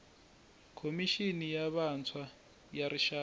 khomixini ya vantshwa ya rixaka